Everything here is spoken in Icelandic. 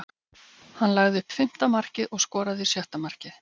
Hann lagði upp fimmta markið og skoraði sjötta markið.